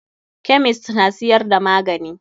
Kemist na siyar da magani.